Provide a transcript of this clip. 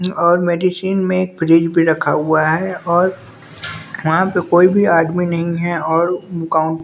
और मेडिसिन में एक फ्रिज भी रखा हुआ है और वहाँ पे कोई भी आदमी नहीं है और--